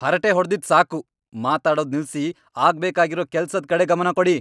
ಹರಟೆ ಹೊಡ್ದಿದ್ ಸಾಕು! ಮಾತಾಡೋದ್ ನಿಲ್ಸಿ ಆಗ್ಬೇಕಾಗಿರೋ ಕೆಲ್ಸದ್ ಕಡೆ ಗಮನ ಕೊಡಿ!